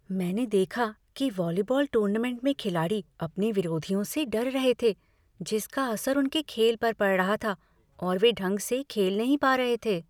मैंने देखा कि वॉलीबॉल टूर्नामेंट में खिलाड़ी अपने विरोधियों से डर रहे थे जिसका असर उनके खेल पर पड़ रहा था और वे ढंग से खेल नहीं पा रहे थे।